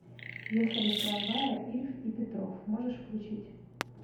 ехали в трамвае ильф и петров можешь включить